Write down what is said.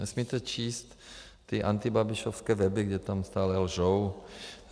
Nesmíte číst ty antibabišovské weby, kde tam stále lžou.